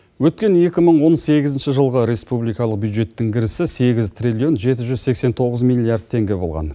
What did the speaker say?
өткен екі мың он сегізінші жылғы республикалық бюджеттің кірісі сегіз триллион жеті жүз сексен тоғыз миллиард теңге болған